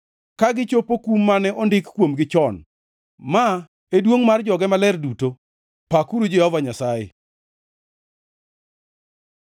ka gichopo kum mane ondik kuomgi chon. Ma e duongʼ mar joge maler duto. Pakuru Jehova Nyasaye!